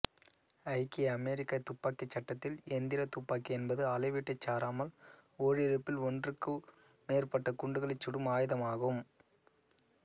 ஐக்கிய அமெரிக்கத் துப்பாக்கிச் சட்டத்தில் எந்திரத் துப்பாக்கி என்பது அளவீட்டைச் சாராமல் ஓரிழுப்பில் ஒன்றுக்கும் மேற்பட்ட குண்டுகளைச் சுடும் ஆய்தமாகும்